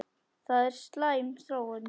Það er slæm þróun.